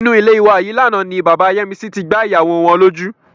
Inú ilé wa yìí lánàá ni bàbá Yẹ́misí tí gbá ìyàwó wọn lójú.